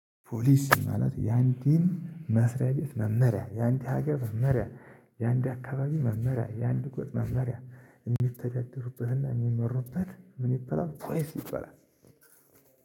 ፖሊሲ ማለት የአንድን መስሪያ ቤት መመሪያ ያንዲ ሀገር መመሪያ የአንድ አካባቢ መመሪያ የአንድ ጎጥ መመሪያ የሚተዳደርበት እና የሚመሩበት ምን ይባላል ፖሊሲ ይበላል